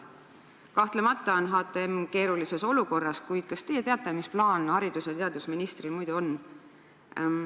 Kahtlemata on HTM keerulises olukorras, kuid kas teie teate, mis plaan haridus- ja teadusministril on?